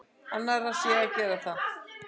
Annarra sé að gera það.